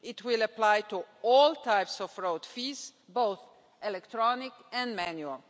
It will apply to all types of road fees, both electronic and manual.